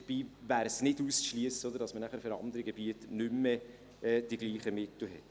Dabei wäre nicht auszuschliessen, dass man nachher für andere Gebiete nicht mehr die gleichen Mittel hat.